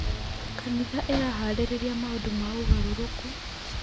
Kanitha ĩraharĩrĩria maũndũ ma ũgarũrũku.